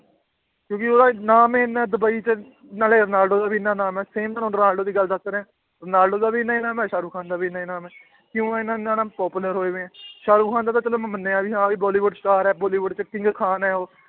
ਕਿਉਂਕਿ ਉਹਦਾ ਨਾਮ ਹੀ ਇੰਨਾ ਡੁਬਈ 'ਚ ਨਾਲੇ ਰੋਨਾਲਡੋ ਦਾ ਵੀ ਇੰਨਾ ਨਾਮ ਹੈ same ਤੁਹਾਨੂੰ ਰੋਨਾਲਡੋ ਦੀ ਗੱਲ ਦੱਸ ਰਿਹਾਂ, ਰੋਨਾਲਡੋ ਦਾ ਵੀ ਇੰਨਾ ਹੀ ਨਾਮ ਹੈ ਸਾਹਰੁਖਾਨ ਦਾ ਵੀ ਇੰਨਾ ਹੀ ਨਾਮ ਹੈ ਕਿਉਂ ਹੈ ਨਾਮ popular ਹੋਏ ਹੋਏ ਹੈ ਸਾਹਰੁਖਾਨ ਦਾ ਤਾਂ ਚੱਲ ਮੈਂ ਮੰਨਿਆ ਵੀ ਹਾਂ ਵੀ ਬੋਲੀਵੁਡ star ਹੈ ਬੋਲੀਵੁਡ 'ਚ king ਖਾਨ ਹੈ ਉਹ